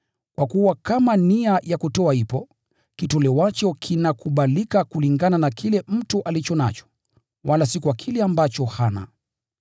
Kwa kuwa kama nia ya kutoa ipo, kitolewacho kinakubalika kulingana na kile mtu alicho nacho, wala si kwa kile ambacho hana.